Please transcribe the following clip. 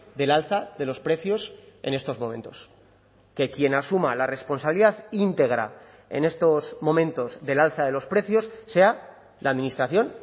del alza de los precios en estos momentos que quien asuma la responsabilidad íntegra en estos momentos del alza de los precios sea la administración